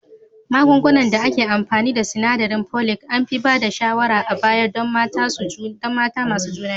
Magunguna da ake amfani da sinadarin Folic an fi ba da shawarar a baya don mata masu juna biyu